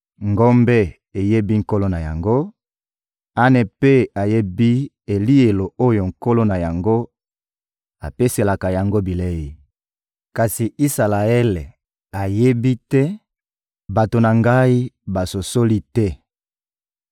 Ngombe eyebi nkolo na yango, ane mpe eyebi elielo oyo nkolo na yango apeselaka yango bilei; kasi Isalaele ayebi te, bato na Ngai basosoli te.»